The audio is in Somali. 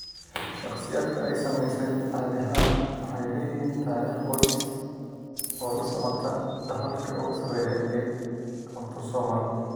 Shakhsiyaadka ay saamaysay caadi ahaan waxay leeyihiin taariikh qoys oo la socota dhaxalka ugu sarreeya ee autosomal.